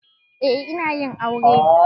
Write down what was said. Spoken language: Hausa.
Eh na yi aure.